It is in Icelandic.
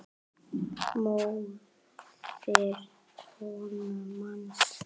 móðir konu manns